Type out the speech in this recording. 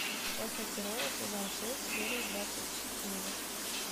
эхо террора сезон шесть серия двадцать четыре